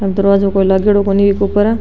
दरवाजा कोई लागेडो कोनी बि के ऊपर।